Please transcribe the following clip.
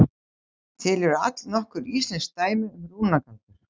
Til eru allnokkur íslensk dæmi um rúnagaldur.